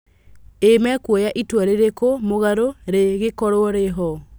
Ĩ mekuoya itua rĩrĩkũ mũgarũ rĩ gĩkorwo rĩho?